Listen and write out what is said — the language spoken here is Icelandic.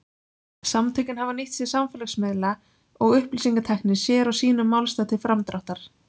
Samtökin hafa nýtt sér samfélagsmiðla og upplýsingatækni sér og sínum málstað til framdráttar.